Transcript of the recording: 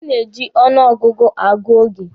A na-eji ọnụ ọgụgụ agụ oge.